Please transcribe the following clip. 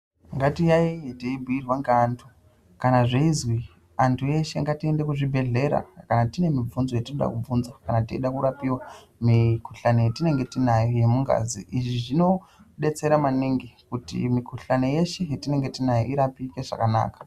Ngati yayiye teibhuirwa ngevantu kana zveizwi antu eshe ngatiende kuzvibhehlera kana tine mubvunzo yetinoda kubvunza kana teide kurapirwa mikuhlani yetinenge tinayo yemugazi izvi zvinodetsera maningi kuti mukuhlani yeshe yatinenge tinayo irapike zvakanaka.